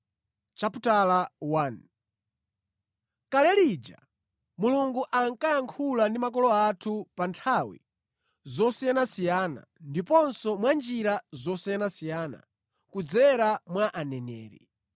Kale lija Mulungu ankayankhula ndi makolo athu pa nthawi zosiyanasiyana ndiponso mwa njira zosiyanasiyana kudzera mwa aneneri.